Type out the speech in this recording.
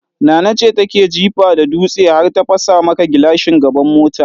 Nana ce take jifa da dutse har ta fasa maka gilashin gaban mota.